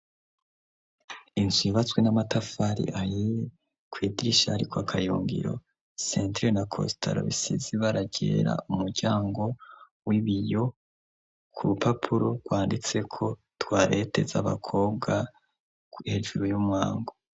Inzu yubatswe n'amatafari ahiye kwidirisha hariko akayungiro sentire na kositara bisize ibara ryera umuryango w'ibiyo ku rupapuro rwanditseko twarete z'abakobwa hejuru y'umwango.